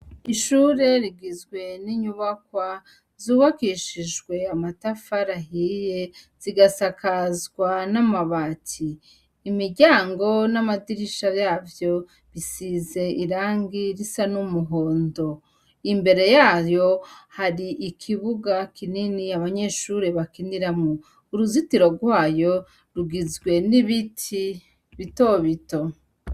Ishure rigizwe n'inyubakwa zubakishijwe amatafa rahiye, zigasakazwa n'amabati. Imiryango n'amadirisha yavyo bisize irangi risa n'umuhondo. Imbere yayo hari ikibuga kinini abanyeshure bakiniramo uruzitiro rwayo, rugizwe n'ibiti bitobito.